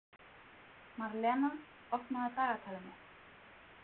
Marlena, opnaðu dagatalið mitt.